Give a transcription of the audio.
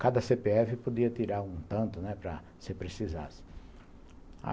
Cada cê pê efe podia tirar um tanto, né, para se precisasse.